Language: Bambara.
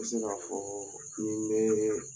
N bɛ sin ka fɔ ni n bɛ